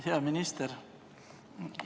Hea minister.